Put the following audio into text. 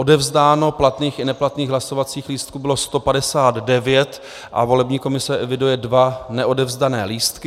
Odevzdáno platných i neplatných hlasovacích lístků bylo 159 a volební komise eviduje dva neodevzdané lístky.